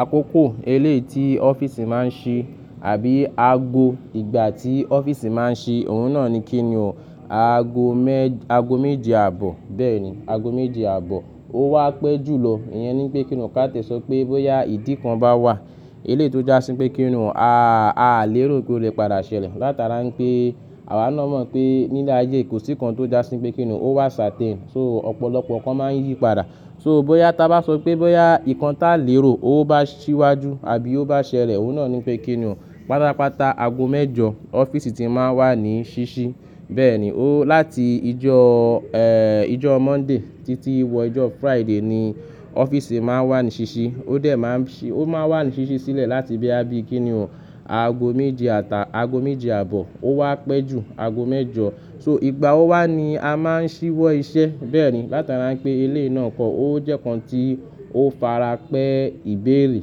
Àkókò eléèti offìce máa ń ṣí àbí àgbo ìgbà tí office máa ń ṣí, òun náà ni kíni o. Aago mẹ́-- aago méje àbọ̀. Bẹ́ẹ̀ni, aago méje àbọ̀. Ó wá pẹ́ jùlọ. Ìyẹn ni pé kín ni ká tẹ̀ sọ pé bóyá ìdí kan bá wà, eléètì ó jásí pé kín ní a, a lè rò pé ó lè padà ṣẹlẹ̀. Látara pé àwa náa mọ̀ pé nílé ayé kò sí kan tó jásí pé kín ní o. Ó wà certain So ọ̀pọ̀lọpọ̀ kan máa ń yí padà. So, bóyá tá bá sọ pé bóyá ìkan tá lè rò, ó bá ṣíwájú àbí ó bá ṣẹlẹ̀, òun náà ni pé kíni o. Pátápátá aago mẹ́jọ offices ti máa ń wà ní ṣíṣí. Bẹ́ẹ̀ni, ó láti ìjọ, ìjọ Monday títí wọ ìjọ Friday ni offices máa ń wà ní ṣíṣí. Ó dẹ̀ máa ń ṣí-- ó máa wà ní ṣíṣí sílẹ̀ láti bíá bí kíni o aago méje àtà-- aago méje àbọ̀. Ó wá pẹ́ jù aago mẹ́jọ. So, ìgbà ó wá ni a máa ń ṣíwọ́ iṣẹ́. Bẹ́ẹ̀ni, látara pé eléè náà pọ̀, ó jẹ́ kan tí ó fara pẹ́ ìbéèrè.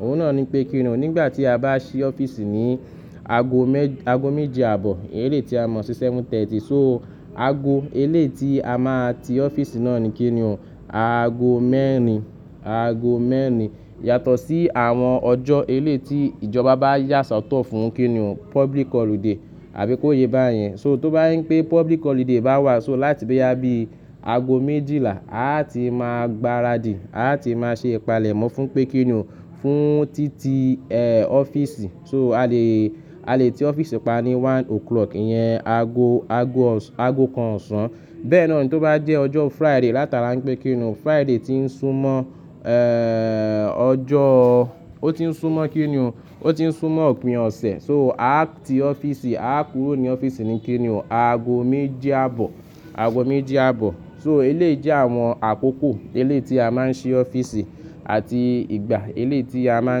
Òun náà ni pé kíni o. Nígbà tí a bá ṣí offices ní aago mẹ-- aago méje àbọ̀, eléètí a mọ̀ sí seven thirty. So aago eléètí a máa ti ọ́fíìsì náà ni kíni o. Aago mẹ́rin, aago mẹ́rin. Yàtọ̀ sí àwọn ọjọ́ eléètí ìjọba bá yà sọ́tọ̀ fún kíni o public holiday àbí kó yé bá yẹn. So tó bá yín pé public holiday bá wà, so láti bíá bí aago méjìlá, a ti máa gbaradì. Lati máa ṣe ìpalẹ̀mọ́ fún pé kíni o fún títí, offices. So a lè, a lè ti ọ́fíìsì pa ní one o'clock, ìyẹn aago, aago ọ̀sán, aago kan ọ̀sán. Bẹ́ẹ̀ náà ni tó bá jẹ́ ọjọ́ Friday látara pé kíni o, Friday ti ń sún mọ́, ọjọ́, ó ti ń sún mọ́ kíni o, ó ti ń sún mọ́ òpin ọ̀sẹ̀. So a ti ọ́fíìsì, a kúrò ní ọ́fíìsì ni kíni o aago méje àbọ̀, aago méje àbọ̀. So eléè jẹ́ àwọn àkókò eléètí a máa ń ṣí offices àti ìgbà eléètí a máa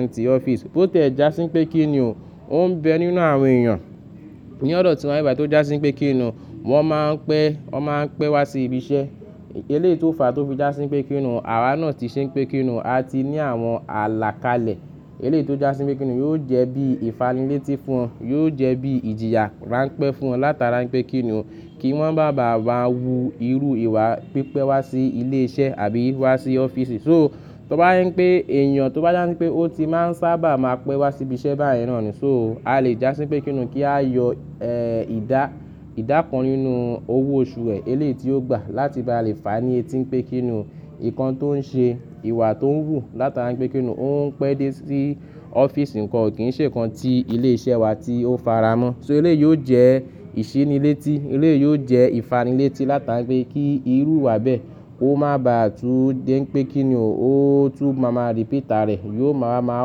ń ti offices bó tẹ̀ já sí pé kíni o, ó ń bẹ nínú àwọn èèyàn. Ní ọ̀dọ̀ tí wọ́n bá rí ìgbà tó já sí pé kíni o, wọ́n máa ń pẹ́, wọ́n máa ń pẹ́ wá sí ibi iṣẹ́. Eléètí ó fa tó fi já sí pé kíni o, àwa náà ti ṣe pé kíni o, a ti ní àwọn àlàkalẹ̀. Eléètí ó já sí pé kíni o yóò jẹ́ bí ìfanilẹ́ti fún wọn. Yóò jẹ́ bí ìjìyà ránpẹ́ fún wọn látara pé kíni o kí wọ́n má bá à máa wu irú ìwà pípẹ́ wá sí ilé iṣẹ́ àbí wá sí offices. So tó bá yín pé èèyàn tó bá yán pé ó ti má ń sábà máa pẹ́ wá sí ibi iṣẹ́ bá yẹn náà ni. So a lè já sí pé kíni o kí a yọ, ìdá, ìdá kan nínú owó oṣù rẹ̀ eléètí ó gbà láti bá lè fani eti pé kíni o ìkan tó ń ṣe ìwà tó ń wù látara pé kíni o, ó ń pẹ́ dé sí offices kan, kò kí ń ṣe kan tí ilé iṣẹ́ wa tí ó faramọ́. So eléè yóò jẹ́ ìṣínílétí. Eléè yóò jẹ́ ìfanilẹ́ti látara pé kí irú ìwà bẹ́ẹ̀, ó má bá à tú dé pé kíni o, ó tú máa máa repeat arẹ̀. Yóò máa máa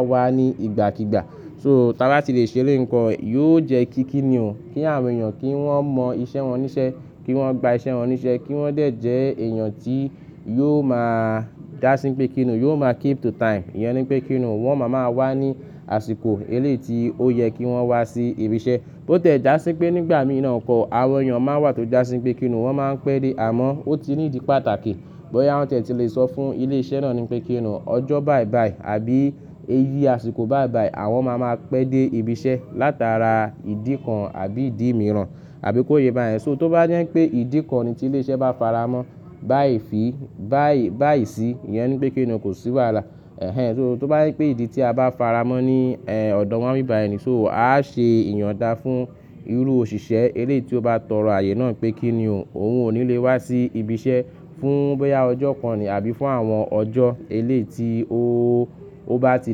wá ní ìgbàkígbà. So tá bá ti lè ṣe eléè nǹkan, yóò jẹ́ kí kíni o kí àwọn èèyàn kí wọ́n mọ iṣẹ́ wọn níṣẹ́, kí wọ́n gba iṣẹ́ wọn níṣẹ́, kí wọ́n dẹ̀ jẹ́ èèyàn tí yóò máa já sí pé kíni o, yóò máa keep to time. Ìyẹn ni pé kíni o wọ́n máa máa wá ní àsìkò eléètí ó yẹ kí wọ́n wá sí ibi iṣẹ́. Bó tẹ̀ já sí pé nígbà mìíràn pọ̀, àwọn èèyàn máa ń wà tó já sí pé kíni o, wọ́n máa ń pẹ́ dé. Àmọ́ ó ti ní ìdí pàtàkì. Bóyá wọ́n tẹ̀ ti lè sọ fún ilé iṣẹ́ náà ni pé kíni o ọjọ́ báì bàì àbí eyi àsìkò báìbàì, àwọn máa máa pẹ́ dé ibi iṣẹ́ látara ìdí kan àbí ìdí mìíràn àbí kó yé bá yẹn. So, tó bá je pé ìdí kan ni tí ilé iṣẹ́ bá faramọ́ báì fi, báì, báì sí, ìyẹn ni pé kíni o kò sí wàhálà. So tó bá yín pé ìdí tí a bá faramọ́ ní ọ̀dọ̀ wọ́n bíbàyè ni, so a ṣe ìyunda fún irú òṣìṣẹ́ eléètí ó bá tọrọ ààyè náà pé kíni o òun ò ní lè wá sí ibi iṣẹ́ fún bóyá ọjọ́ kan ni àbí fún àwọn ọjọ́ eléètí ó, ó bá ti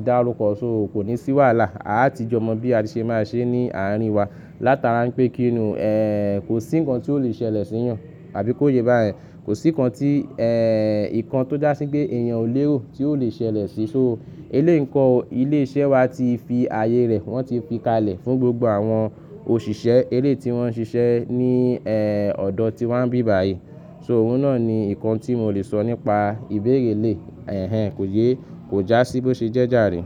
dárúkọ. So kò ní sí wàhálà. A ti jọ mọ̀ bí a ti ṣe máa ṣe ní àárín wa látara pé kíni o,, kò sí nǹkan tí ó lè ṣẹlẹ̀ sí wọn àbí kó yé bá yẹn. Kò sí nǹkan tí,, ìkan tó já sí pé èèyàn ò léò tí ó lè ṣẹlẹ̀ sí. So eléè nǹkan, ilé iṣẹ́ wa ti fi ààyè rẹ̀, wọ́n ti fi kalẹ̀ fún gbogbo àwọn òṣìṣẹ́ eléètí wọ́n ń ṣiṣẹ́ ní,, ọ̀dọ̀ tí wọ́n bíbàyè. So, òun náà ni nǹkan tí mo lè sọ nípa ìbéèrè eléè. Kò yé é, kò já sí bó ṣe jẹ́ jàrí.